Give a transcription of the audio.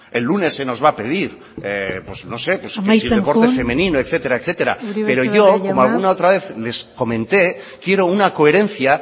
el lunes se nos va a pedir pues no sé amaitzen joan el deporte femenino etcétera etcétera pero yo como alguna otra vez les comenté quiero una coherencia